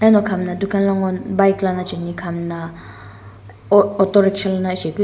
ano khamna dukan lo ngu bike lono chaeni hamna autorickshaw lono chae --